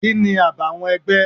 Kini àbàwọ́n ẹgbẹ́?